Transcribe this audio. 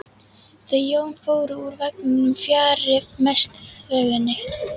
Þau Jón fóru úr vagninum fjarri mestu þvögunni.